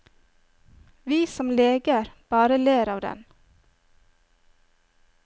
Vi som leger bare ler av den.